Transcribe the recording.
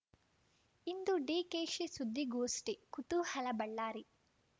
ಇಂದು ಡಿಕೆಶಿ ಸುದ್ದಿಗೋಷ್ಠಿ ಕುತೂಹಲ ಬಳ್ಳಾರಿ